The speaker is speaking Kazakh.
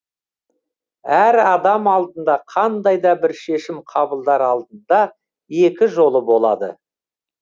әр адам алдында қандай да шешім қабылдар алдында екі жолы болады